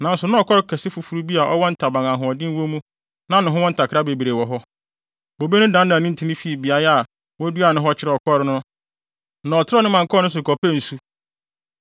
“ ‘Nanso na ɔkɔre kɛse foforo bi a ɔwɔ ntaban a ahoɔden wo mu na ne ho wɔ ntakra bebree wɔ hɔ. Bobe no dannan ne ntin fii beae a woduaa no hɔ kyerɛɛ ɔkɔre no na ɔtrɛw ne mman kɔɔ ne so kɔpɛɛ nsu.